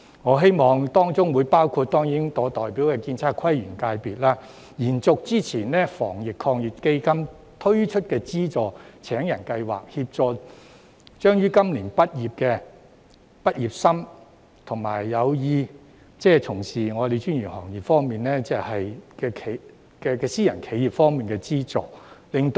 我希望當中包括建測規園界別的職位，延續之前透過防疫抗疫基金推出的就業資助計劃，協助將於今年畢業的畢業生，以及有意從事專業行業的私人企業，從而減低失業率，我覺得這會勝過每次"派錢"。